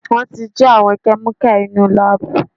Wọ́n ti jí àwọn kẹ́míkà inúu láàbù.